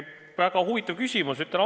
Väga huvitav küsimus!